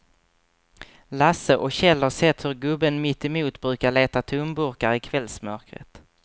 Lasse och Kjell har sett hur gubben mittemot brukar leta tomburkar i kvällsmörkret.